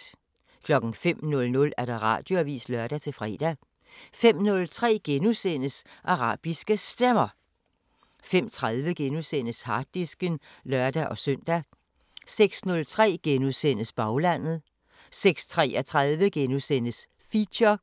05:00: Radioavisen (lør-fre) 05:03: Arabiske Stemmer * 05:30: Harddisken *(lør-søn) 06:03: Baglandet * 06:33: Feature